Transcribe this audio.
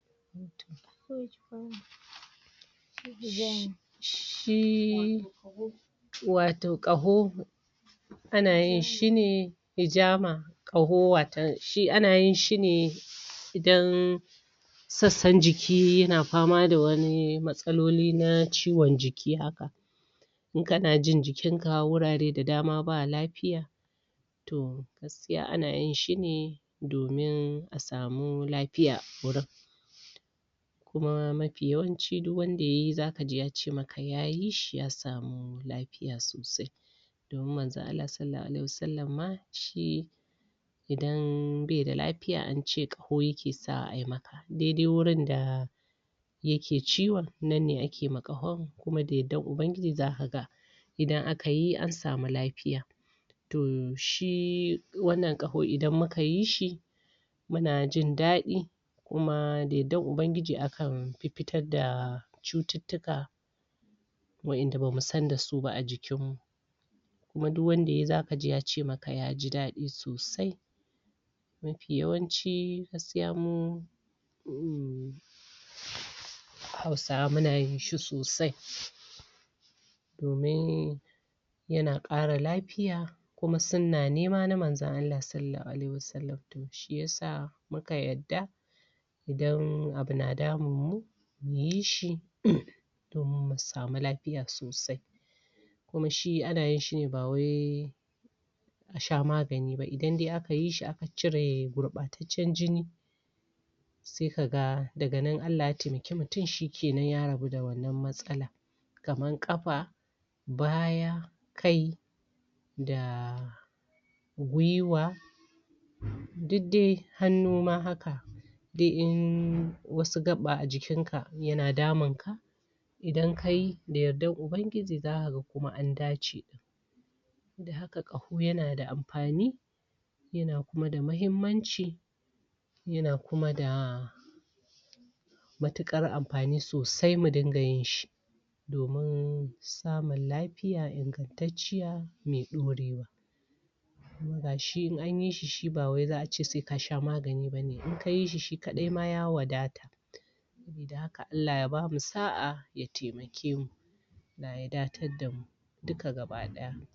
shi wato ƙaho ana yin shine ijama. ƙaho watan shi ana yin shine idan sassan jiki ya na pama da wani matsaloli na ciwon jiki haka in ka na jin jikinka wurare da dama ba lapiya toh gaskiya ana yin shine domin a samu lapiya a wurin kuma mapi yawanci duk wanda yayi za kaji yace maka yayi shi ya samu lapiya sosai. Domin Manzon Allah Sallallahu Alaihi Wa Sallam ma ahi idan beda lapiya ance ƙaho yake sa ayi maka daidai wurinda yake ciwon nan ne ake ma ƙahon kuma da yardar ubangiji za ka ga idan akayi an samu lapiya. Toh shi wannan ƙaho idan mukayi shi muna jindaɗi kuma da yardar ubangiji akan pippitar da cututtuka wa'inda bamu sanda su ba a jikinmu kuma duk wanda yayi za kaji yace maka yaji daɗi sosai. Mapi yawanci gaskiya mu um hausawa muna yinshi sosai domin ya na ƙara lapiya kuma sunna ne ma Manzon Allah Sallallahu Alaihi Wa Sallam toh shiyasa muka yarda shiyasa muka yarda idan abu na damun mu muyi shi domin mu samu lapiya sosai, kuma shi ana yin shine ba wai a sha magani ba idan dai aka yi shi aka cire gurɓataccen jini se kaga daga nan Allah ya taimaki mutum shi kenan ya rabu da wannan matsalan kaman ƙapa, baya, kai, da gwiwa, duk dai hannu ma haka dai in wasu gaɓa a jikinka ya na damun ka idan kayi da yardar ubangiji za ka ga kuma an dace. da haka ƙaho yana da ampani Haka ƙaho ya na da ampani ya na kuma da mahimmanci ya na kuma da matuƙar ampani sosai mu dinga yin shi domin samun lapiya ingantacciya mai ɗorewa. Kuma gashi in anyi shi, shi ba wai za'ace seka sha magani bane in kayi shi, shi kaɗai ma ya wadata. Gashi in anyi shi, shi ba wai za'ace seka sha magani bane in kayi shi, shi kaɗai ma ya wadata sabida haka Alla ya bamu sa'a ya taimake mu, da haka Alla ya bamu sa'a ya taimake mu, Allah ya datar damu duka gaba-ɗaya.